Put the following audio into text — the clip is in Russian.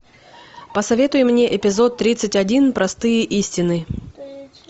посоветуй мне эпизод тридцать один простые истины